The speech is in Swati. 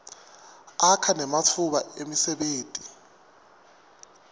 akha nematfuba emsebenti